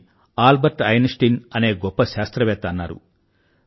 అని Albert Einstein అనే గొప్ప శాస్త్రవేత్త అన్నారు